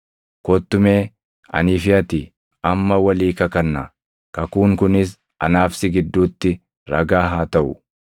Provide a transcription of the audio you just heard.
Kottu mee anii fi ati amma walii kakannaa; kakuun kunis anaa fi si gidduutti ragaa haa taʼu.”